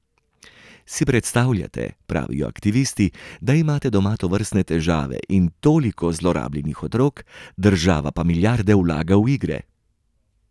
Si predstavljate, pravijo aktivisti, da imate doma tovrstne težave in toliko zlorabljenih otrok, država pa milijarde vlaga v igre?